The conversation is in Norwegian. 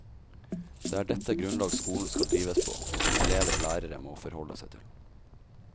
Det er dette grunnlag skolen skal drives på, og som elever og lærere må forholde seg til.